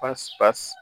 Pɔsi